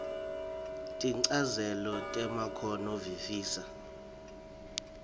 tinchazelo temakhono visisa